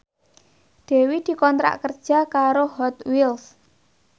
Dewi dikontrak kerja karo Hot Wheels